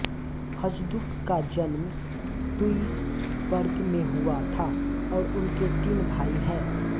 Hajduk का जन्म Duisburg में हुआ था और उनके तीन भाई हैं